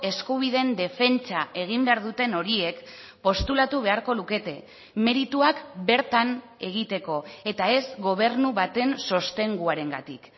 eskubideen defentsa egin behar duten horiek postulatu beharko lukete merituak bertan egiteko eta ez gobernu baten sostenguarengatik